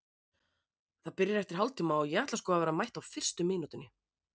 Það byrjar eftir hálftíma og ég ætla sko að vera mætt á fyrstu mínútunni.